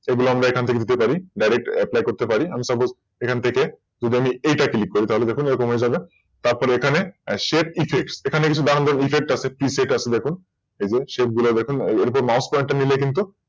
এগুলো আমরা এখান থেকে নিতে পারি। Direct apply করতে পারি আমি Suppose এখান থেকে থেকে যদি আমি এটা Click করি তো দেখুন এরকম হয়ে যাবে তারপর এখানে Shape effects এখানে কিছু Download effect আছে Reset আছে দেখুন সেই Shape গুলো দেখুন ওগুলোর ওপর Mouse pointer নিয়ে গেলে কিন্তু